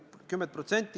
Seda ma ei ole öelnud.